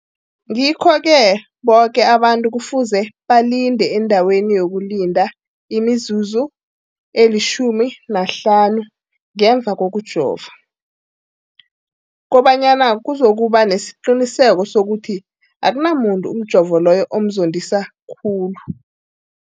Ngikho-ke boke abantu kufuze balinde endaweni yokulinda imizuzu eli-15 ngemva kokujova, koba nyana kuzokuba nesiqiniseko sokuthi akunamuntu umjovo loyo omzondisa khulu.